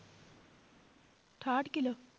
ਅਠਾਹਠ ਕਿੱਲੋ।